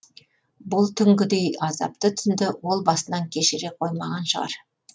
бұл түнгідей азапты түнді ол басынан кешіре қоймаған шығар